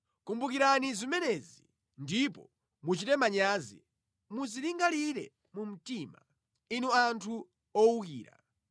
“Kumbukirani zimenezi ndipo muchite manyazi, Muzilingalire mu mtima, inu anthu owukira.